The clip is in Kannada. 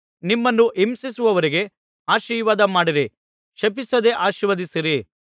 ನಿಮ್ಮನ್ನು ಹಿಂಸಿಸುವವರಿಗೆ ಆಶೀರ್ವಾದ ಮಾಡಿರಿ ಶಪಿಸದೆ ಆಶೀರ್ವದಿಸಿರಿ